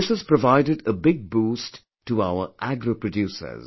This has provided a big boost to our agro producers